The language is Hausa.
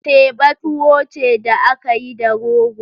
Teba tuwo ce da aka yi da rogo.